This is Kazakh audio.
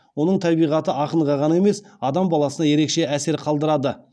оның табиғаты ақынға ғана емес адам баласына ерекше әсер қалдырады